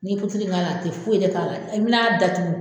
N'i turu in k'a la a te foyi de k'a la e bena datugu